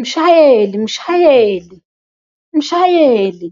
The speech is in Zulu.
Mshayeli! Mshayeli! Mshayeli!